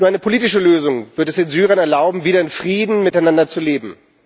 Nur eine politische Lösung wird es den Syrern erlauben, wieder in Frieden miteinander zu leben.